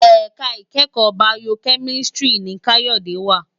Èká ikèékò Bàyókèmísìtrí ni Kayode wá